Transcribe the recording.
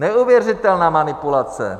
Neuvěřitelná manipulace!